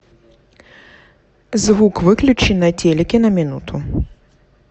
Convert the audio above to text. звук выключи на телике на минуту